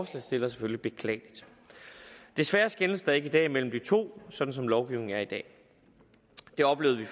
selvfølgelig beklageligt desværre skelnes der ikke i dag mellem de to sådan som lovgivningen er i dag det oplevede vi